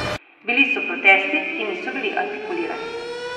Bili so protesti, ki niso bili artikulirani.